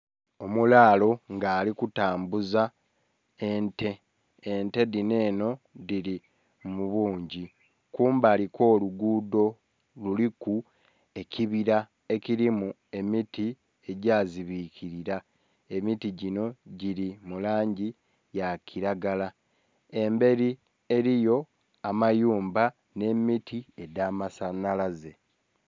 Omulaalo nga ali kutanbuza ente, ente dhino eno dhili mu bungi kumbali kwo lugudho kuliku ekibira ekilimu emiti egya zibikilila. Emiti ginho gili mu langi eya kilagala, emberi eriyo amayumba nhe emiti egya masanhalaze.